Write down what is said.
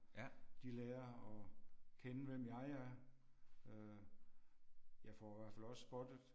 De lærer at kende hvem jeg er øh. Jeg få hvert fald også spottet